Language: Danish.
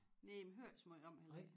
Næh man hører æ så møj om et heller